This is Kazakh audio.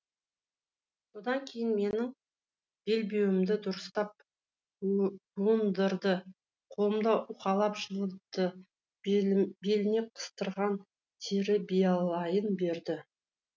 содан кейін менің белбеуімді дұрыстап буындырды қолымды уқалап жылытты беліне қыстырған тері биялайын берді